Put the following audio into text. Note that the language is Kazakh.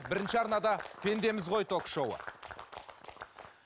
бірінші арнада пендеміз ғой ток шоуы